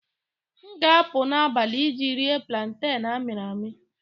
M ga-apụ n'abalị iji rie planten amịrị amị